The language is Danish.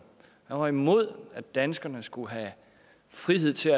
og sf var imod at danskerne skulle have frihed til